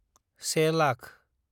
सेे lakh